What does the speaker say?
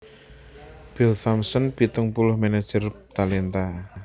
Bill Thompson pitung puluh manajer talenta